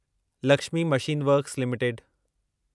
Lakshmi machine works limited